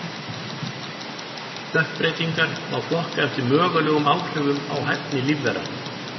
Stökkbreytingar má flokka eftir mögulegum áhrifum á hæfni lífvera.